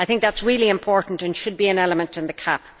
I think this is very important and should be an element in the CAP.